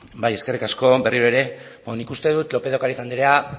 eskerrik asko berriro ere nik uste dut lópez de ocariz andrea